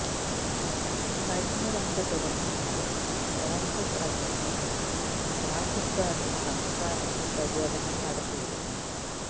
കഴിഞ്ഞ രണ്ട് ദിവസങ്ങളായ കോൺഗ്രസ് അധ്യക്ഷൻ രാഹുൽ ഗാന്ധി സംസ്ഥാനത്ത് പര്യടനം നടത്തിയിരുന്നു